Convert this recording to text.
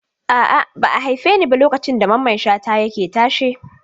A'a, ba a haife ni ba lokacin da Mamman Shata yake tashe.